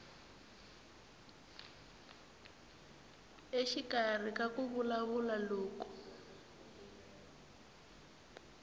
exikarhi ka ku vulavula loko